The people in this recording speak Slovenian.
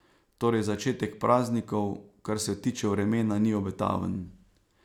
Torej začetek praznikov, kar se tiče vremena, ni obetaven.